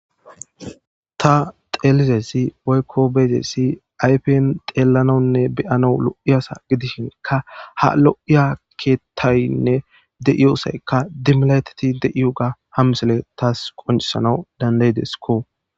ta xeelizessi waykko beezessi ayfen xeellanonne beyano lo7i asa gidishinka ha lo7iya keettaynne de7iyosaykka dimilaytati deiyo ga ham misele taas qoncisana dandaydeskko